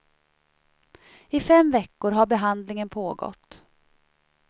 I fem veckor har behandlingen pågått.